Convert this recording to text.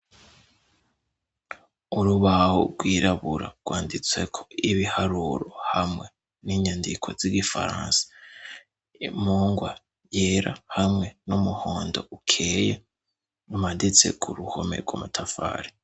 Urubaho rwirabura rwanditse ko ibiharuro hamwe n'inyandiko z'Igifaransa. Impungwa yera hamwe n'umuhondo ukeye umaditse ku ruhome rw' amatafari.